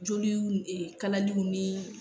Joliw ee kalaliw ni